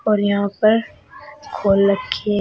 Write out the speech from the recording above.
और यहां पर खोल रखी है।